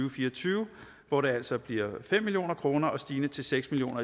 og fire og tyve hvor det altså bliver fem million kroner stigende til seks million